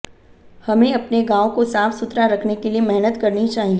हमें अपने गांव को साफ सुथरा रखने के लिए मेहनत करनी चाहिए